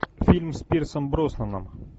фильм с пирсом броснаном